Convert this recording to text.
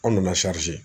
An nana